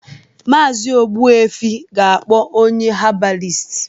Maazi Ogbuefi ga-akpọ onye habalist